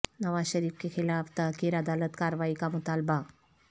نواز شریف کے خلاف تحقیر عدالت کاروائی کا مطالبہ